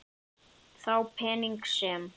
Þá peninga sem